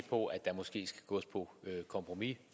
på at der måske skal gås på kompromis